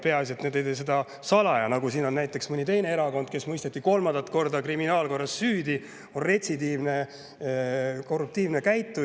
Peaasi et nad ei tee seda salaja, nagu siin mõne teise erakonna puhul, kes mõisteti kolmandat korda kriminaalkorras süüdi ja kes käitub retsidiivselt korruptiivselt.